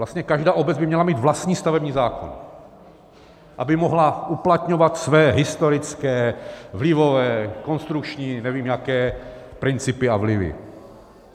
Vlastně každá obec by měla mít vlastní stavební zákon, aby mohla uplatňovat své historické, vlivové, konstrukční, nevím, jaké principy a vlivy.